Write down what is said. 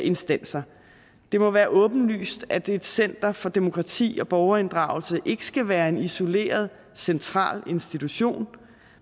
instanser det må være åbenlyst at et center for demokrati og borgerinddragelse ikke skal være en isoleret central institution